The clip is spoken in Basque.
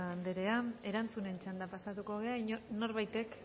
anderea erantzunen txandara pasatuko gara norbaitek